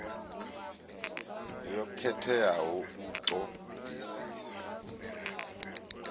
yo khetheaho u ṱo ḓisisa